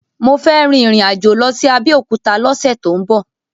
Mo fẹ́ rin ìrìn-àjò lọ sí Abẹ́òkúta lọ́sẹ̀ tó ń bọ̀.